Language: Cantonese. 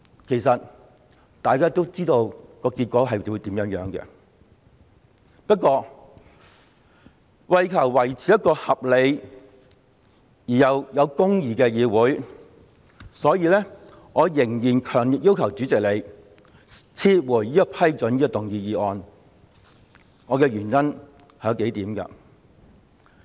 其實，大家都知道結果將會如何，不過，為求維持一個合理又有公義的議會，所以，我仍然強烈要求主席撤回批准局長動議這項議案的裁決，原因為以下數點。